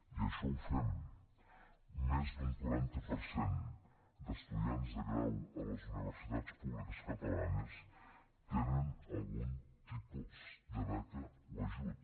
i això ho fem més d’un quaranta per cent d’estudiants de grau a les universitats públiques catalanes tenen algun tipus de beca o ajut